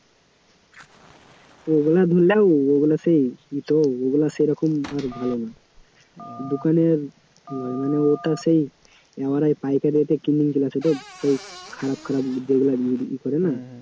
ওগুলা, দেখো ওগুলা সেই ই তো ওগুলা সেরকম আর ভালো না দোকানের মানে ওটা সেই আমরা পাইকারিতে কিনে নিয়ে চলে আসে তো, খারাপ খারাপ যেগুলা করে না